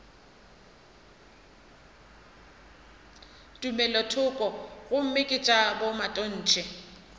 tumelothoko gomme ke tša bomatontshe